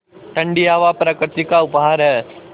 ठण्डी हवा प्रकृति का उपहार है